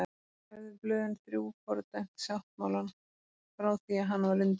Höfðu blöðin þrjú fordæmt sáttmálann frá því að hann var undirritaður.